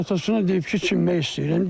Atası deyib ki, çimmək istəyirəm.